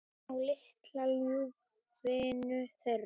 Á litla ljúfinn þeirra.